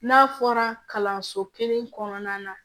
N'a fɔra kalanso kelen kɔnɔna na